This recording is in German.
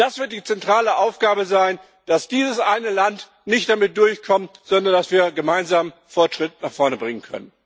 Das wird die zentrale Aufgabe sein, dass dieses eine Land nicht damit durchkommt, sondern dass wir gemeinsam Fortschritt nach vorne bringen können.